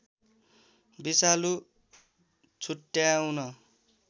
विषालु छुट्याउँन